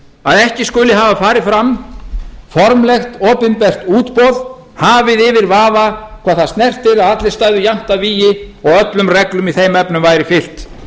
að ekki skulu hafa farið fram formlegt opinbert útboð hafið yfir vafa hvað það snertir að allir stæðu jafnt að vígi og öllum reglum í þeim efnum væri fylgt